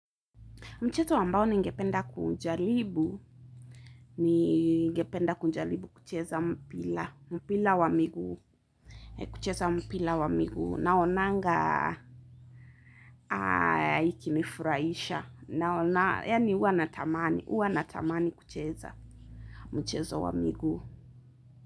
Mchezo ambao ningependa kunjalibu, ningependa kunjalibu kucheza mpila, mpila wa miguu, kucheza mpila wa miguu, naonanga ikinifuraisha, naonanga, yaani huwa na tamani, huwa na tamani kucheza mchezo wa miguu.